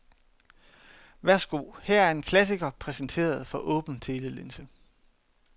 Værsgo, her er en klassiker præsenteret for åben telelinse.